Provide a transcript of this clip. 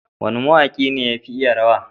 wane ma waki ne yafi iya rawa?